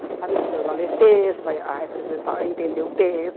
Estava ensinando a ler texto, a a representar a entender o texto.